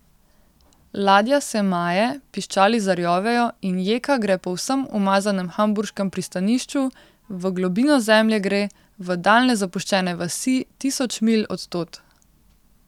Ladja se maje, piščali zarjovejo in jeka gre po vsem umazanem hamburškem pristanišču, v globino zemlje gre, v daljne zapuščene vasi, tisoč milj od tod.